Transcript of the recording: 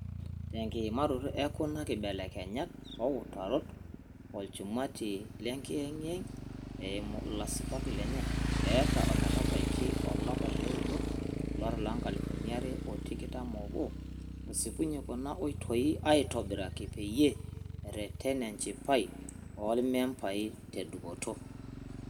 Tekiimaroto ekuna kibelekenyat ooutarot, olchumati le ngiyengiyeng - eimu ilasipak lenye - eeta ometabaiki olapa leudo olari loonkalifuni are otikitam oobo osipunye kuna oitoi aitobiraki peyie ereten enchipai oolmembai tedupoto.